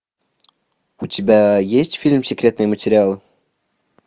у тебя есть фильм секретные материалы